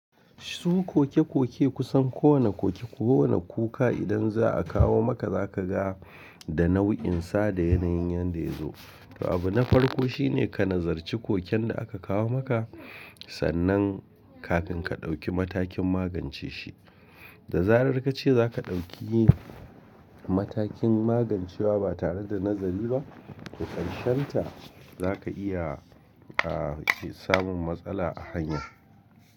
Su koke-koke kusan kowane koke ko kowane kuka idan za a kawo maka zaka ga da nau'insa da yanayin yanda ya zo. To abu na farko shine ka nazarci koken da aka kawo maka sannan kafin ka ɗauki matakin magance shi. Da zarar kace zaka ɗauki matakin magancewa ba tare da nazari ba, to ƙarshen ta zaka iya, ah, ki samun matsala a hanya.